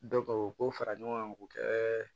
o ko fara ɲɔgɔn kan k'o kɛ